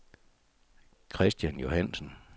Kristian Johansen